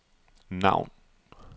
navn